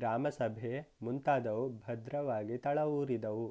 ಗ್ರಾಮಸಭೆ ಮುಂತಾದುವು ಭದ್ರವಾಗಿ ತಳವೂರಿದವು